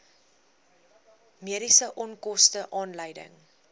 mediese onkoste aanleiding